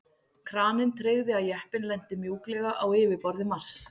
Kraninn tryggði að jeppinn lenti mjúklega á yfirborði Mars.